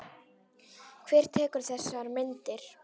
Hver tekur þessar myndir?